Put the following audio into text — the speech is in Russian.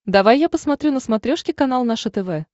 давай я посмотрю на смотрешке канал наше тв